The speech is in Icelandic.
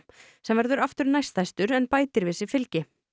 sem verður aftur næststærstur en bætir við sig fylgi